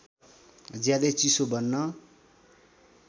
ज्यादै चिसो बन्न